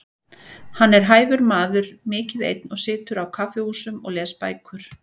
Hann er hæfur maður, mikið einn og situr á kaffihúsum og les bækur.